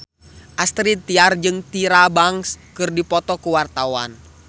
Astrid Tiar jeung Tyra Banks keur dipoto ku wartawan